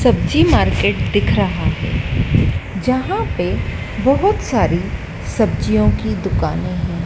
सब्जी मार्केट दिख रहा है जहां पे बहुत सारी सब्जियों की दुकानें हैं।